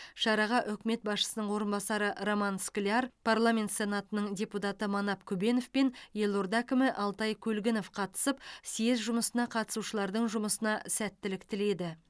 шараға үкімет басшысының орынбасары роман скляр парламент сенатының депутаты манап күбенов пен елорда әкімі алтай көлгінов қатысып съезд жұмысына қатысушылардың жұмысына сәттілік тіледі